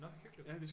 Nå hyggeligt